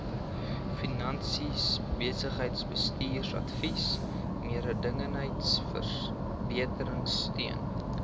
finansies besigheidsbestuursadvies mededingendheidsverbeteringsteun